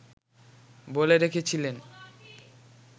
বলে রেখেছিলেন